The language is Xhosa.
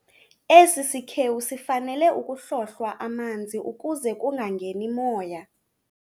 Esi sikhewu sifanele ukuhlohlwa amanzi ukuze kungangeni moya.